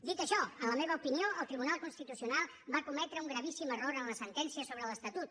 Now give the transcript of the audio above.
dit això en la meva opinió el tribunal constitucional va cometre un gravíssim error en la sentència sobre l’estatut